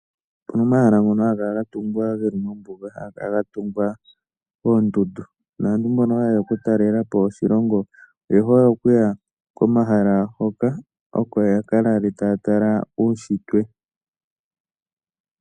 Opu na omahala ngoka haga kala ga tungwa geli mombuga, haga kala ga tungwa moondundu naantu mbono haye ya okutalela po oshilongo oye hole okuya komahala hoka oko ya ka lale taya tala uushitwe.